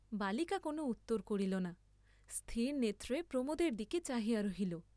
বালিকা কোন উত্তর করিল না, স্থির নেত্রে প্রমোদের দিকে চাহিয়া রহিল।